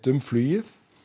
um flugið